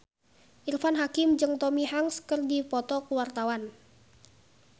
Irfan Hakim jeung Tom Hanks keur dipoto ku wartawan